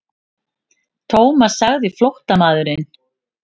Thomas sagði flóttamaðurinn.